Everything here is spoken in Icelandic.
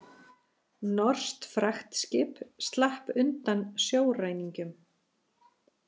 Norskt fraktskip slapp undan sjóræningjum